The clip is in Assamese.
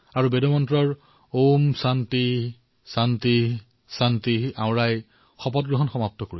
তেওঁ বেদৰ উল্লেখ কৰিছিল আৰু ঔম শান্তিঃ শান্তিঃ শান্তিঃৰ সৈতে নিজৰ শপত পূৰ্ণ কৰিছিল